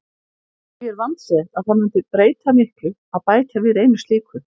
Því er vandséð að það mundi breyta miklu að bæta við einu slíku.